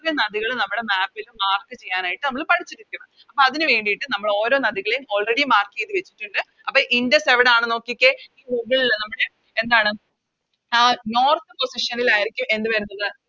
ഇത്രേം നദികൾ നമ്മുടെ Map ല് Mark ചയ്യാനായിട്ട് നമ്മള് പഠിച്ചിരിക്കും അപ്പൊ അതിന് വേണ്ടിട്ട് നമ്മളോരോ നദികളെയും Already mark ചെയ്ത് വെച്ചിട്ടുണ്ട് അപ്പൊ ഇൻഡസ് എവിടാണ് നോക്കിക്കേ Google ല് നമ്മുടെ എന്താണ് ആ North position ൽ ആരിക്കും എന്ത് വരുന്നത്